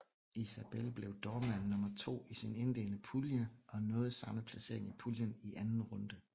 I sabel blev Doorman nummer to i sin indledende pulje og nåede samme placering i puljen i anden runde